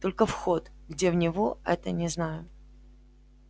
только вход где в него это не знаю